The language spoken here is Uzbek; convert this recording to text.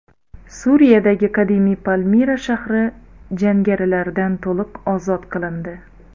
Suriyadagi qadimiy Palmira shahri jangarilardan to‘liq ozod qilindi.